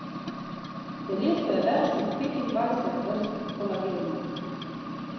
V telesu je več kot petindvajset vrst kolagena.